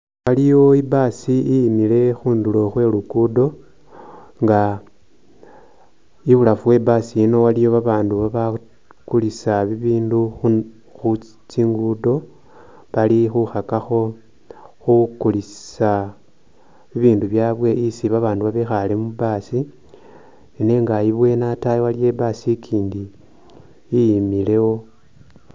Aliwo i’bus iyimile khunduro khwelugudo nga ibulafu we’ bus ino iliyo abandu bakulisa ibindu khutsingudo bali khukhakakho khukulisa ibindu byawe isii babandu bikhale mu bus nenga ibweni atayi aliwo i’bus ikyindi iyimewo .